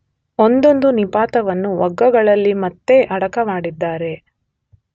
ಒಂದೊಂದು ನಿಪಾತವನ್ನೂ ವಗ್ಗಗಳಲ್ಲಿ ಮತ್ತೆ ಅಡಕ ಮಾಡಿದ್ದಾರೆ.